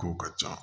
Kow ka ca